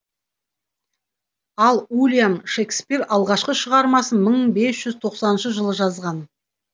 ал уильям шекспир алғашқы шығармасын мың бес жүз тоқсаныншы жылы жазған